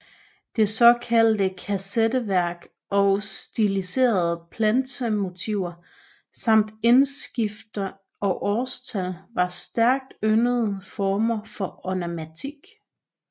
Det såkaldte kassetteværk og stiliserede plantermotiver samt indskrifter og årstal var stærkt yndede former for ornamentik